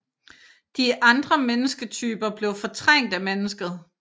De andre mennesketyper blev fortrængt af mennesket